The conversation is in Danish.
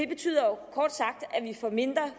betyder kort sagt at vi får mindre